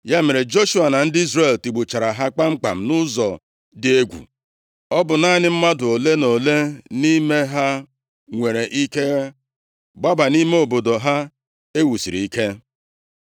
Ya mere, Joshua na ndị Izrel tigbuchara ha kpamkpam nʼụzọ dị egwu, ọ bụ naanị mmadụ ole na ole nʼime ha nwere ike gbaba nʼime obodo ha e wusiri ike.